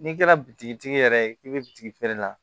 N'i kɛra bitigi tigi yɛrɛ ye k'i bɛ bitigi feere la